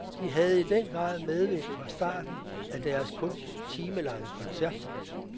De havde i den grad medvind fra starten af deres kun timelange koncert.